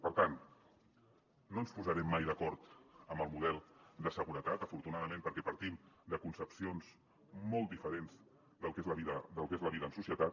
per tant no ens posarem mai d’acord amb el model de seguretat afortunadament perquè partim de concepcions molt diferents del que és la vida en societat